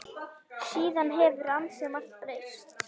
Síðan hefur ansi margt breyst.